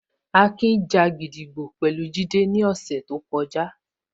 Akin ja gídígbò pẹ̀lú Jide ní ọ̀sẹ̀ tó kọjá